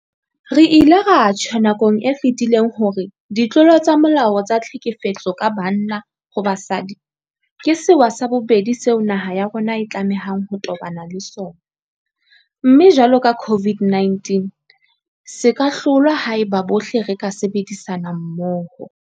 Re ile ra tjho nakong e fetileng hore ditlolo tsa molao tsa tlhekefetso ka banna ho basadi ke sewa sa bobedi seo naha ya rona e tlamehang ho tobana le sona, mme jwalo ka COVID-19 se ka hlolwa haeba bohle re ka sebedisana mmoho.